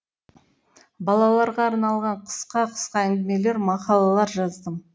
балаларға арналған қысқа қысқа әңгімелер мақалалар жаздым